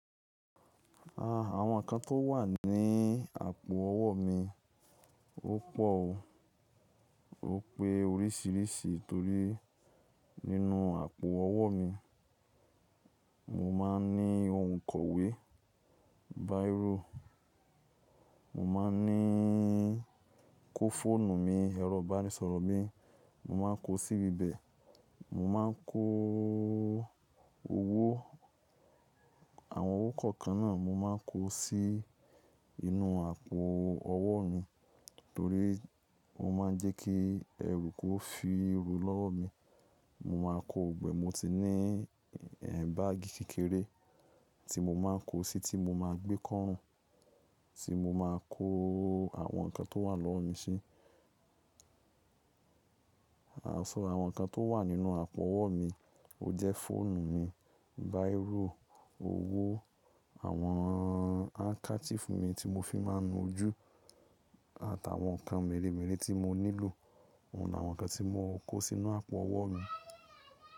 Àwọn ǹkan tó wà ní àpò ọwọ́ mi ó pọ̀ o. Ó pé oríṣìíríṣìí torí nínú àpò ọwọ́ mi, mo máa ń ní ohun kọ̀wé, bírò, mo máa ń ní, kó fóònù mi, ẹ̀rọ ìbánisọ̀rọ̀ mi mo máa ń kó síbi bẹ̀. Mo máa ń kó owó, àwọn owó kọ̀ọ̀kan náà mo máa ń kó sí inú àpò ọwọ́ mi torí mo máa ń jẹ́ kí ẹrú kó fi rú lọ́wọ́ mi. Mo máa kó gbogbo e, mo ti ní, báàgì kékeré tí mo máa ń kó sí, tí mo máa gbé kọ́rùn tí mo máa kó àwọn ǹkan tó wà lọ́wọ́ mi sí. Anṣọ, àwọn ǹkan tó wà nínú àpò ọwọ́ mi, ó jẹ́ fóònù mi, bírò, owó, àwọn háńkásífù mi tí mo fi máa ń nu ojú àtàwọn ǹkan mẹ́rẹ̀mẹ́rẹ̀ tí mo nílò. Óun làwọn ǹkan tí mo ń kó sínú àpò ọwọ́ mi.